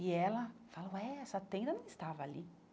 E ela fala, ué, essa tenda não estava ali.